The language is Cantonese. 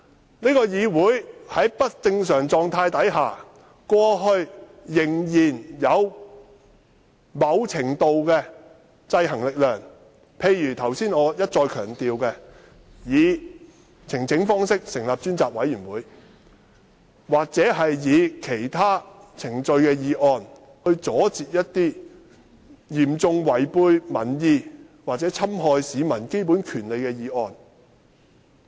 立法會以往即使在不正常的狀態下，仍然受到某程度的制衡，例如我剛才一再強調以呈請方式成立的專責委員會，或按照其他程序提出的議案，以阻截一些嚴重違背民意或侵害市民基本權利的議案。